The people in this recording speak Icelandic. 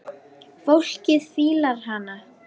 Fólkið fílar hana.